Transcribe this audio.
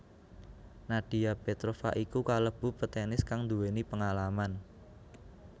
Nadia Petrova iku kalebu petenis kang nduwéni pengalaman